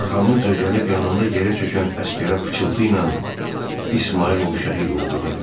Arxamca gəlib yanımda yerə çökən əsgərə pıçıltıyla İsmayılov şəhid oldu dedim.